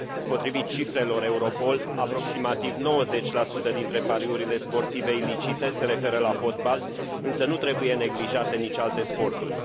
Potrivit cifrelor Europol, aproximativ 90 dintre pariurile sportive ilicite se referă la fotbal, însă nu trebuie neglijate nici alte sporturi.